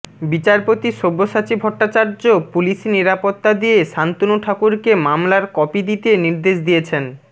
বিচারপতি সব্যসাচী ভট্টাচার্য পুলিশি নিরাপত্তা দিয়ে শান্তনু ঠাকুরকে মামলার কপি দিতে নির্দেশ দিয়েছেন